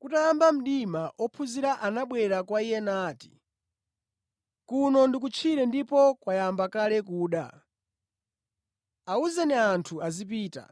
Kutayamba mdima, ophunzira anabwera kwa Iye nati, “Kuno ndi kutchire ndipo kwayamba kale kuda. Awuzeni anthu azipita